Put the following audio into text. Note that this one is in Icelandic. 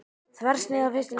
Þversnið af fyrsta leysinum.